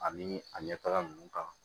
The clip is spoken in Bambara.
Ani a ɲɛ taga nunnu kan